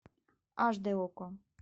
аш дэ окко